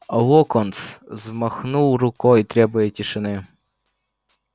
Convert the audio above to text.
локонс взмахнул рукой требуя тишины